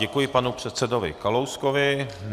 Děkuji panu předsedovi Kalouskovi.